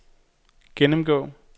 gennemgå